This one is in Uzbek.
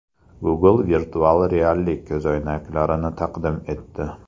Google virtual reallik ko‘zoynaklarini taqdim etdi.